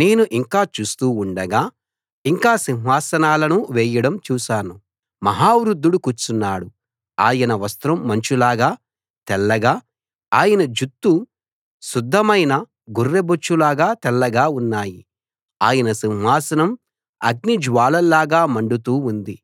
నేను ఇంకా చూస్తూ ఉండగా ఇంకా సింహాసనాలను వేయడం చూశాను మహా వృద్ధుడు కూర్చున్నాడు ఆయన వస్త్రం మంచులాగా తెల్లగా ఆయన జుత్తు శుద్ధమైన గొర్రెబొచ్చులాగా తెల్లగా ఉన్నాయి ఆయన సింహాసనం అగ్నిజ్వాలల్లాగా మండుతూ ఉంది